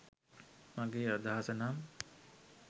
මගෙ අදහස නම්